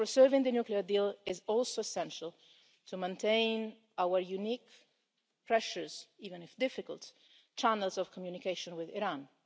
Preserving the nuclear deal is also essential to maintaining our unique and precious even if difficult channels of communication with Iran.